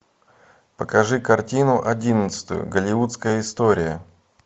покажи картину одиннадцатую голливудская история